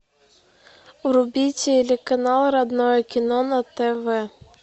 вруби телеканал родное кино на тв